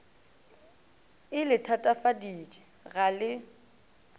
e le thatafaditše ga le